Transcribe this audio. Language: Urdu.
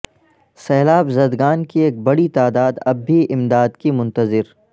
سیلاب زدگان کی ایک بڑی تعداد اب بھی امداد کی منتظر